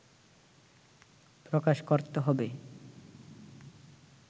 প্রকাশ করতে হবে